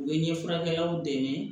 U bɛ ɲɛfurakɛlaw dɛmɛ